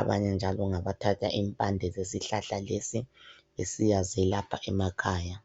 abanye njalo ngabathatha impande zesihlahla lesi besiyazelapha emakhaya.